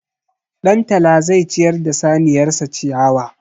Ɗantala zai ciyar da saniyar sa ciyawa.